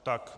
Tak.